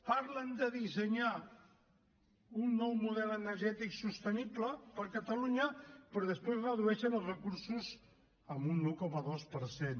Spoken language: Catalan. parlen de dissenyar un nou model energètic sostenible per a catalunya però després redueixen els recursos en un un coma dos per cent